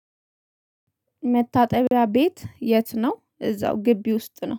መታጠቢያ ቤት የት ነው? እዛው ግቢ ውስጥ ነው